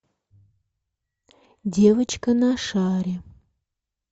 девочка на шаре